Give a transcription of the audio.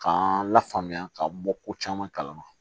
K'an lafaamuya ka bɔ ko caman kalama